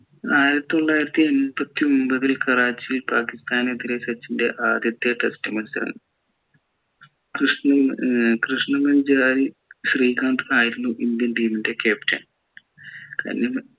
ആയിരത്തി തൊള്ളായിരത്തി എണ്പത്തിയൊമ്പതിൽ കറാച്ചി പാകിസ്താനെതിരെ സച്ചിൻ്റെ ആദ്യത്തെ test മത്സരം കൃഷ്‌ണമച്ചാരി ശ്രീകാന്ത് ആയിരുന്നു ഇന്ത്യൻ team ൻ്റെ captain